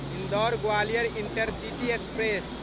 Indore Gwalior intercity express